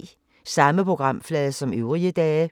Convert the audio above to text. Samme programflade som øvrige dage